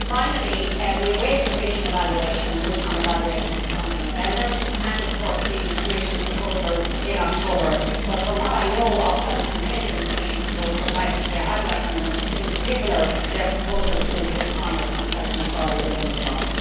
Finally, we await the Commission mid term evaluation of the fund in November and the Commission proposals in October but, from what I know of what is contained in the Commission proposals, I have to say I welcome them, in particular their proposal to include farmers and the self employed within the fund.